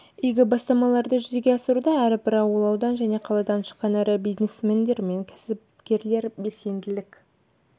игі бастамаларды жүзеге асыруда әрбір ауыл аудан және қаладан шыққан ірі бизнесмендер мен кәсіпкерлер белсенділік